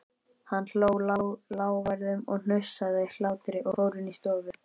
Hann hló, lágværum, hnussandi hlátri og fór inn í stofu.